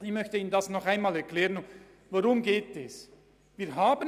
Ich möchte ihnen nochmals erklären, worum es geht: